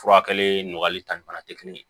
Furakɛli nɔgɔyali ta ni fana tɛ kelen ye